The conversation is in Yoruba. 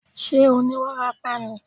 Ṣé ó ní wárápá ni?